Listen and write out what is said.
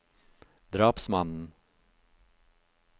drapsmannen